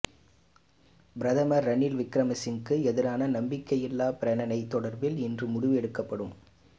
பிரதமர் ரணில் விக்கிரமசிங்கவுக்கு எதிரான நம்பிக்கையில்லா பிரேரணை தொடர்பில் இன்று முடிவு எடுக்கப்படும்